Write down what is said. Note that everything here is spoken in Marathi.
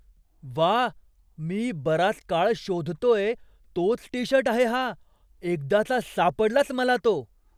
व्वा! मी बराच काळ शोधतोय तोच टी शर्ट आहे हा. एकदाचा सापडलाच मला तो.